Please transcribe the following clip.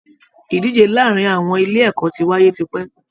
Ìdíje láàrin àwọn ilé ẹ̀kọ́ ti wáyé tipẹ́